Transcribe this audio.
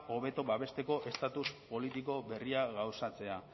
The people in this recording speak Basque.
hobeto babesteko estatus politiko berria gauzatzea